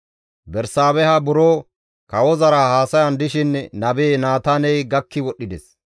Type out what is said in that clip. Bersaabeha buro kawozara haasayan dishin nabe Naataaney gakki wodhdhides.